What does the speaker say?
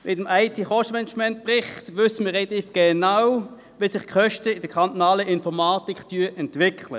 Mit dem IT-Kostenmanagementbericht wissen wir relativ genau, wie sich die Kosten in der kantonalen Informatik entwickeln.